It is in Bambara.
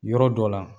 Yɔrɔ dɔ la